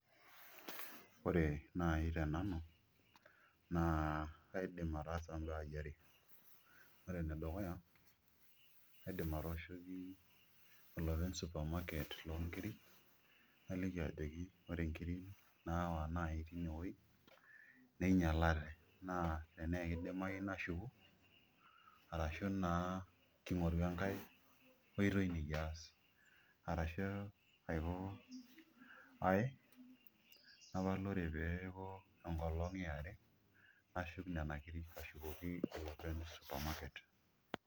Ore naai tenenu kaidim ataasa imbaai are ore enedukuya kaidim atooshoki olopeny supermarket loonkiri naliki ajoki ore nkirri naawa naai tinewuei ninyialate naa tenaa kidimayu nashuku arashu naa king'oru enkae oitoi nikiaas arashu aiko ai napal ore pee eeku enkolong' ee are nashuk nena kirri ashukoki olopeny le supermarket.